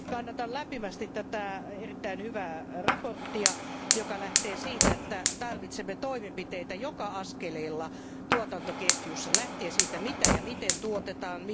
Kannatan lämpimästi tätä erittäin hyvää mietintöä, joka lähtee siitä, että tarvitsemme toimenpiteitä joka askeleella tuotantoketjussa, lähtien siitä, mitä ja miten tuotetaan.